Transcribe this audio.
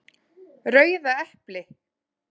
Rauða epli!